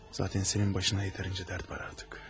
Onsuz da sənin başına yetərincə dərd var artıq.